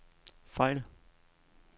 fejl